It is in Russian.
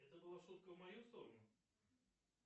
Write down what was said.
это была шутка в мою сторону